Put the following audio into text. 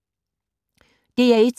DR1